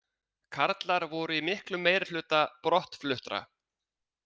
Karlar voru í miklum meirihluta brottfluttra